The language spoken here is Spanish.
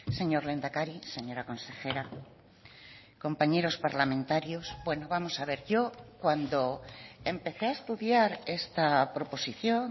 señor lehendakari señora consejera compañeros parlamentarios bueno vamos a ver yo cuando empecé a estudiar esta proposición